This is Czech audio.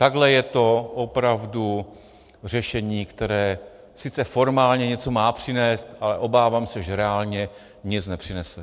Takhle je to opravdu řešení, které sice formálně něco má přinést, ale obávám se, že reálně nic nepřinese.